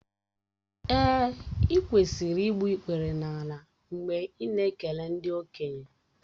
Èè, ị kwesịrị igbu ikpere n’ala mgbe ị na-ekele ndị okenye